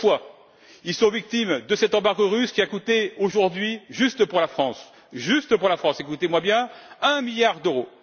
D'une part, ils sont victimes de cet embargo russe, qui a coûté à ce jour, juste pour la France juste pour la France, écoutez moi bien un milliard d'euros.